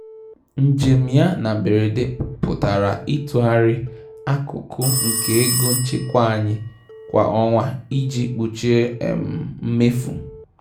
Njem ya na mberede pụtara ịtụgharị akụkụ nke ego nchekwa anyị kwa ọnwa iji kpuchie um mmefu